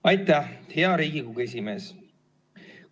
Aitäh, hea Riigikogu esimees!